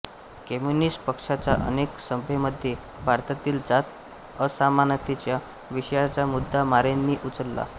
communist पक्षाच्या अनेक सभेंमध्ये भारतातील जात असमानतेच्या विषयाचा मुद्दा मोरेंनी उचलला